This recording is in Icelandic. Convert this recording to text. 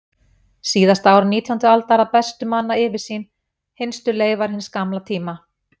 Síðasta ár nítjándu aldar að bestu manna yfirsýn, hinstu leifar hins gamla tíma.